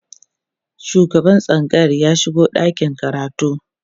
shugaban tsangayar ya shigo ɗakin karatun